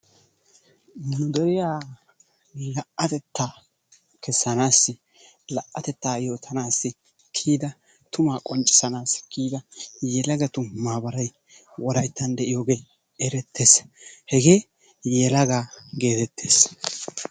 nu deriya la'atettaa kessanaassi la'atettaa yootanaassi kiyida yelagatu maabaray wolayttan de'iyoogee eretees, hegee yelaga geetettees.